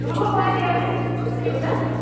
শৰাই দিয়া নে লক্ষী পূজাত